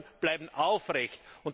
Die Bemühungen bleiben aufrecht.